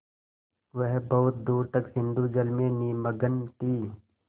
वह बहुत दूर तक सिंधुजल में निमग्न थी